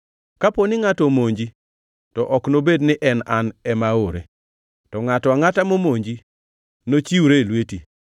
Kapo ni ngʼato omonji, to ok nobed ni an ema aore; to ngʼato angʼata momonji nochiwre e lweti.